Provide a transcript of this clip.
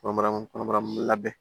Kɔnɔbara kɔnɔ labɛn